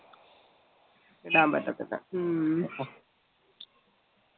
ഇടാൻ പറ്റത്തില്ല ഹ്മ്മ്